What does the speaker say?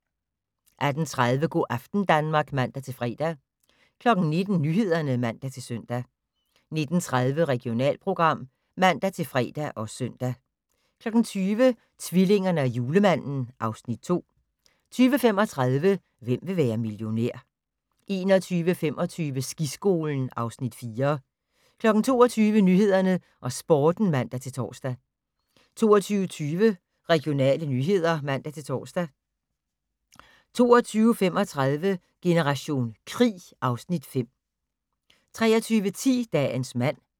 18:30: Go' aften Danmark (man-fre) 19:00: Nyhederne (man-søn) 19:30: Regionalprogram (man-fre og søn) 20:00: Tvillingerne og Julemanden (Afs. 2) 20:35: Hvem vil være millionær? 21:25: Skiskolen (Afs. 4) 22:00: Nyhederne og Sporten (man-tor) 22:20: Regionale nyheder (man-tor) 22:35: Generation krig (Afs. 5) 23:10: Dagens mand